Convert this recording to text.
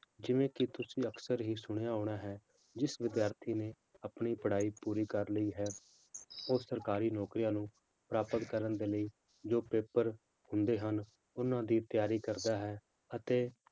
ਜਿਵੇਂ ਕਿ ਤੁਸੀਂ ਅਕਸਰ ਹੀ ਸੁਣਿਆ ਹੋਣਾ ਹੈ, ਜਿਸ ਵਿਦਿਆਰਥੀ ਨੇ ਆਪਣੀ ਪੜ੍ਹਾਈ ਪੂਰੀ ਕਰ ਲਈ ਹੈ, ਉਹ ਸਰਕਾਰੀ ਨੌਕਰੀਆਂ ਨੂੰ ਪ੍ਰਾਪਤ ਕਰਨ ਦੇ ਲਈ ਜੋ ਪੇਪਰ ਹੁੰਦੇ ਹਨ, ਉਹਨਾਂ ਦੀ ਤਿਆਰੀ ਕਰਦਾ ਹੈ ਅਤੇ